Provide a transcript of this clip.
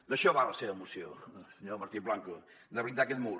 d’això va la seva moció senyor martín blanco de blindar aquest mur